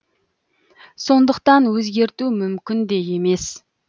сондықтан өзгерту мүмкін де емес